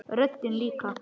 Röddin líka.